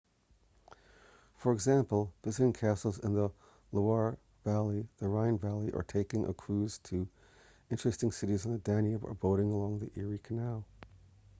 for example visiting castles in the loire valley the rhine valley or taking a cruise to interesting cites on the danube or boating along the erie canal